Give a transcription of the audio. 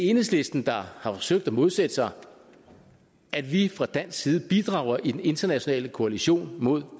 enhedslisten der har forsøgt at modsætte sig at vi fra dansk side bidrager i den internationale koalition mod